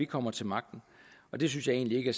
kommer til magten og det synes jeg egentlig ikke